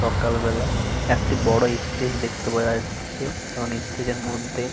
সকালবেলা একটা বড় ইস্টেজ দেখতে পাওয়া যাচ্ছে। এবং ইস্টেজ -এর মধ্যে --